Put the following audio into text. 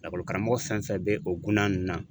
Lakɔlikaramɔgɔ fɛn fɛn bɛ o gunna ninnu na.